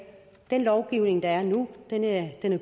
den lovgivning der er nu er